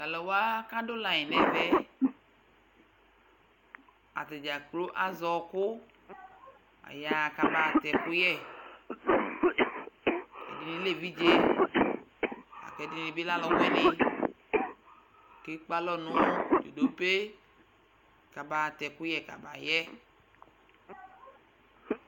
Tʋ alʋ wa kʋ adʋ layɩn nʋ ɛvɛ yɛ, ata dza kplo azɛ ɔɣɔkʋ Ayaɣa kabaɣa atɛ ɛkʋyɛ Ɛdɩnɩ lɛ evidze la kʋ ɛdɩnɩ bɩ lɛ alʋwɩnɩ kʋ ekpe alɔ nʋ dzodope kabaɣa atɛ ɛkʋyɛ kabayɛ